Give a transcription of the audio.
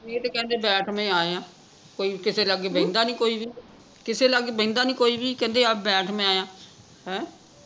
ਇਹ ਤੇ ਕਹਿੰਦੇ ਬੈਠ ਮੈਂ ਆਇਆ ਕੋਈ ਕਿਸੇ ਲਾਗੇ ਬਹਿੰਦਾ ਨਹੀਂ ਕੋਈ ਵੀ ਕਿਸੇ ਲਾਗੇ ਬਹਿੰਦਾ ਨਹੀਂ ਕੋਈ ਵੀ ਕਹਿੰਦੇ ਬੈਠ ਮੈਂ ਆਇਆ ਹੈਂ